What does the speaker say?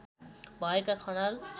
भएका खनाल